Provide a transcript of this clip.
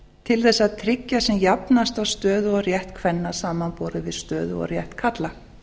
til þess að tryggja sem jafnasta stöðu og rétt kvenna samanborið við stöðu og rétt karla